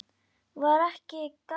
Var ekki gaman?